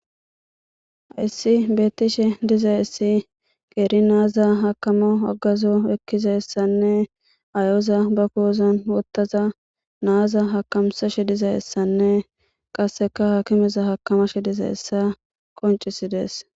Hessi bettishe dizayssi qeri naza hakamo hagazo ekkizayssanne mayoza be ki'on wothada naza hakamisashe dizayssanne qasekka hakimeza hakamash dizayssa qonccisides.